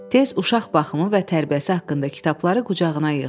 Tez uşaq baxımı və tərbiyəsi haqqında kitabları qucağına yığdı.